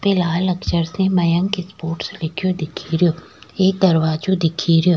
यहाँ पे लाल अक्षर से मयंक स्पोर्ट्स लिखे दिख रो एक दरवाजों दिख रो।